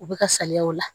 U bɛ ka saliya o la